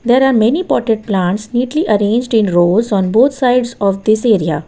There are many potted plants neatly arranged in rows on both sides of this area.